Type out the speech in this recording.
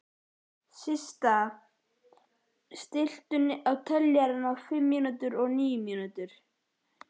Systa, stilltu niðurteljara á fimmtíu og níu mínútur.